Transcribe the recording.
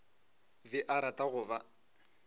be a rata go ba